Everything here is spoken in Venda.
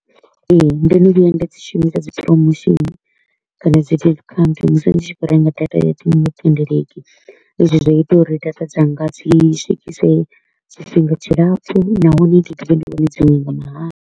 Ee, ndo no vhuya nda dzi shumisa dzi promotion kana dzi discount musi ndi tshi kho u renga data ya dziṅwe thendeleki, izwi zwo ita uri data dzanga dzi swikise tshifhinga tshilapfu nahone ndi dovhe ndi wane dziṅwe nga mahala.